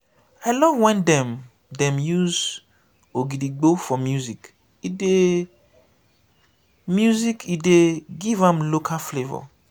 i love wen dem use ogidigbo for music e dey music e dey give am local flavour.